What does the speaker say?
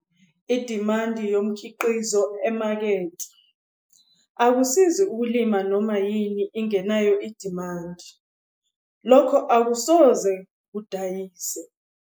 Idimandi yomkhiqizo emakethe - akusizi ukulima noma yini ingenayo idimandi, lokho akusoze kudayise.